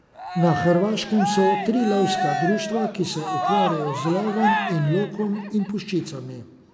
Na Hrvaškem so tri lovska društva, ki se ukvarjajo z lovom z lokom in puščicami.